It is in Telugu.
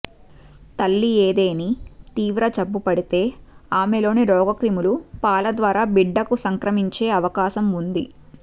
తల్లి ఏదేని తీవ్ర జబ్బుపడితే ఆమెలోని రోగక్రిములు పాల ద్వారా బిడ్డకు సంక్రమించే అవకాశం ఉంది